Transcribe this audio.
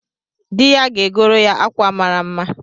Di ya ga-agoro ya akwa mara mma